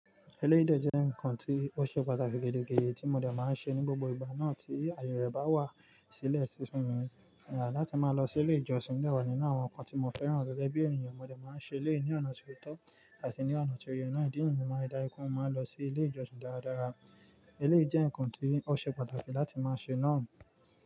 Eléèyi de jẹ́ nǹkan tí ó ṣe pàtàkì gẹ́digẹ́di tí mo dẹ̀ máa ń ṣe ní gbogbo ìgbà náà tí àyè rẹ̀ bá wà sílẹ̀ sí fún mi. Láti máa lọ sí ilé ìjọsìn jẹ́ de wá nínú àwọn nǹkan tí mo fẹ́ràn gẹ́bẹ̀ bi ènìyàn mo dẹ̀ máa ń ṣe lẹ́yìn ọ̀nà tí ó tọ́ àti ní ọ̀nà tí oyè iná ìdí niyen máa ri dá ju pẹ mo máa lọ sí ilé ìjọsìn dáradára. Eléèlé jẹ́ nǹkan tí ó ṣe pàtàkì láti máa ṣe náà.